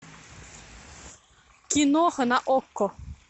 киноха на окко